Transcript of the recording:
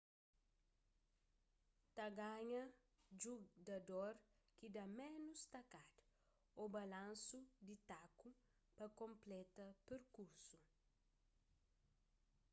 ta ganha judador ki da ménus takada ô balansu di taku pa konpleta perkursu